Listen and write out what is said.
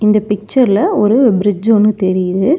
இந்த பிக்சர் ல ஒரு பிரிட்ஜ் ஒன்னு தெரியுது.